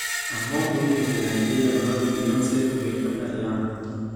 Ang'o momiyo jo Naijeria dwaro ni Beyoncé obed kaka Rihanna